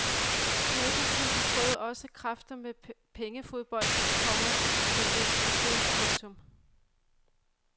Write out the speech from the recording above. Naboklubben prøvede også kræfter med pengefodbolden, komma men led skibsbrud. punktum